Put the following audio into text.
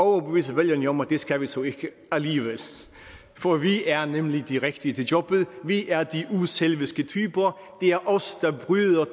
at overbevise vælgerne om at det skal vi så ikke alligevel for vi er nemlig de rigtige til jobbet vi er de uselviske typer det er os der bryder